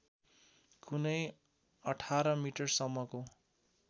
कुनै १८ मिटरसम्मको